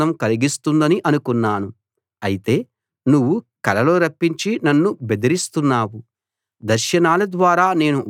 అయితే నువ్వు కలలు రప్పించి నన్ను బెదిరిస్తున్నావు దర్శనాల ద్వారా నేను వణికిపోయేలా చేస్తున్నావు